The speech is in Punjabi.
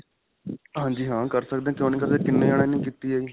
ਹਾਂਜੀ ਹਾਂ. ਕਰ ਸਕਦੇ ਹਾਂ. ਕਿਉਂ ਨਹੀਂ ਕਰ ਸਕਦੇ ਕਿੰਨੇ ਜਾਣਿਆਂ ਨੇ ਕੀਤੀ ਹੈ ਜੀ.